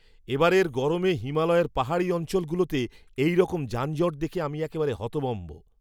এবারের গরমে হিমালয়ের পাহাড়ি অঞ্চলগুলোতে এইরকম যানজট দেখে আমি একেবারে হতভম্ব!